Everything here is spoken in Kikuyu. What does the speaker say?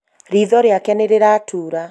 ritho rĩake nĩ rĩratura